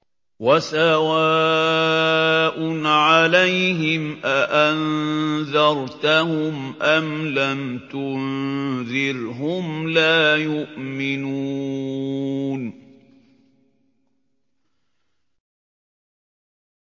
وَسَوَاءٌ عَلَيْهِمْ أَأَنذَرْتَهُمْ أَمْ لَمْ تُنذِرْهُمْ لَا يُؤْمِنُونَ